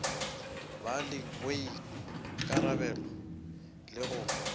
ba le boikarabelo le go